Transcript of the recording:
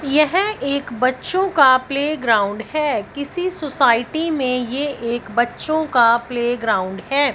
यह एक बच्चों का प्लेग्राउंड है किसी सोसाइटी में ये एक बच्चों का प्लेग्राउंड है।